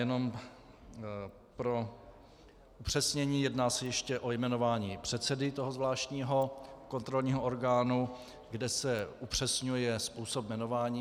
Jenom pro upřesnění, jedná se ještě o jmenování předsedy toho zvláštního kontrolního orgánu, kde se upřesňuje způsob jmenování.